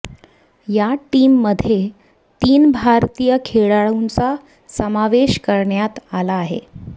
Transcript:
या टीममध्ये तीन भारतीय खेळाडूंचा समावेश करण्यात आला आहे